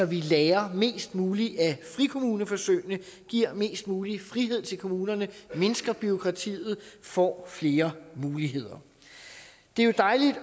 vi lærer mest muligt af frikommuneforsøgene giver mest mulig frihed til kommunerne mindsker bureaukratiet og får flere muligheder det er jo dejligt